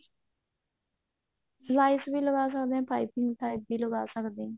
ਲੈਸ ਵੀ ਲਗਾ ਸਕਦੇ ਹਾਂ ਪਾਈਪਿੰਨ type ਵੀ ਲਗਾ ਸਕਦੇ ਹਾਂ